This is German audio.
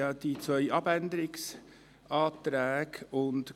Es liegen zwei Abänderungsanträge vor.